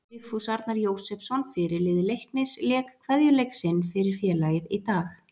Vigfús Arnar Jósepsson fyrirliði Leiknis lék kveðjuleik sinn fyrir félagið í dag.